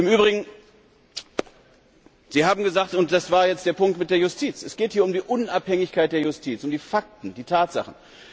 Im Übrigen Sie haben gesagt und das war jetzt hier der Punkt mit der Justiz es geht hier um die Unabhängigkeit der Justiz, um die Fakten, die Tatsachen.